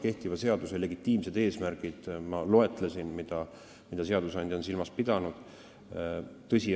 Kehtiva seaduse legitiimsed eesmärgid, mida seadusandja on silmas pidanud, ma loetlesin.